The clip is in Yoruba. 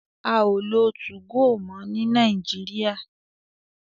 A o lo tu-go mo ni Nàìjíríà